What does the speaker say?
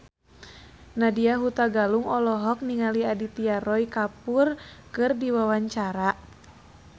Nadya Hutagalung olohok ningali Aditya Roy Kapoor keur diwawancara